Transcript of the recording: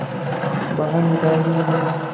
बाहर निकाल दिया गया